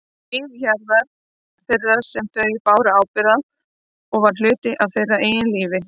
Líf hjarðar þeirrar sem þau báru ábyrgð á og var hluti af þeirra eigin lífi.